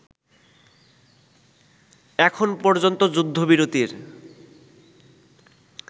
এখন পর্যন্ত যুদ্ধবিরতির